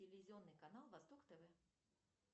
телевизионный канал восток тв